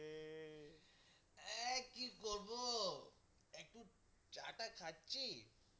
আহ কি করবো একটু চা টা খাচ্ছি।